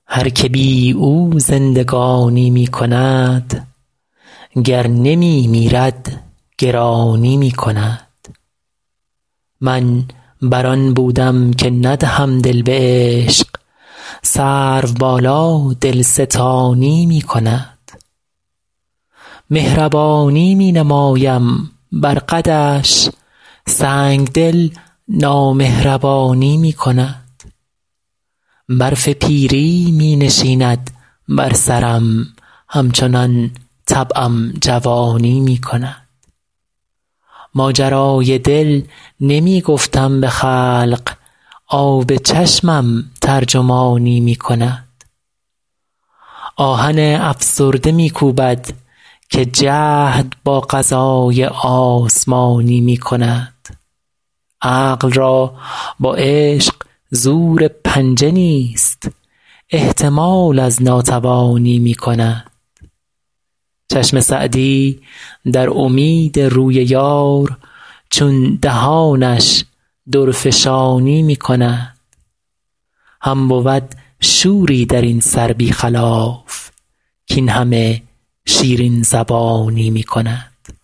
هر که بی او زندگانی می کند گر نمی میرد گرانی می کند من بر آن بودم که ندهم دل به عشق سروبالا دلستانی می کند مهربانی می نمایم بر قدش سنگدل نامهربانی می کند برف پیری می نشیند بر سرم همچنان طبعم جوانی می کند ماجرای دل نمی گفتم به خلق آب چشمم ترجمانی می کند آهن افسرده می کوبد که جهد با قضای آسمانی می کند عقل را با عشق زور پنجه نیست احتمال از ناتوانی می کند چشم سعدی در امید روی یار چون دهانش درفشانی می کند هم بود شوری در این سر بی خلاف کاین همه شیرین زبانی می کند